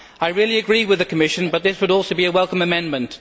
I rarely agree with the Commission but this would also be a welcome amendment.